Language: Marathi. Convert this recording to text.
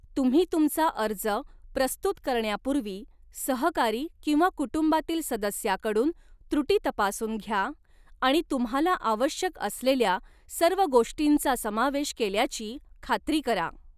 तुम्ही तुमचा अर्ज प्रस्तुत करण्यापूर्वी, सहकारी किंवा कुटुंबातील सदस्याकडून त्रुटी तपासून घ्या आणि तुम्हाला आवश्यक असलेल्या सर्व गोष्टींचा समावेश केल्याची खात्री करा.